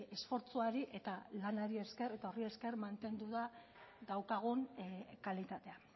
esfortzuari eta lanari esker eta horri esker mantendu da daukagun kalitatea